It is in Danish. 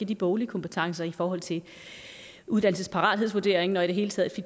de boglige kompetencer i forhold til uddannelsesparathedsvurderingen og i det hele taget i